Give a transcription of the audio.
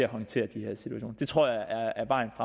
håndtere de her situationer det tror jeg er vejen